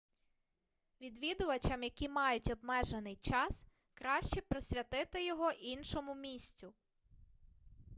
відвідувачам які мають обмежений час краще присвятити його іншому місцю